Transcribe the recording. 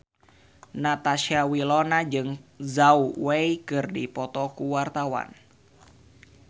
Natasha Wilona jeung Zhao Wei keur dipoto ku wartawan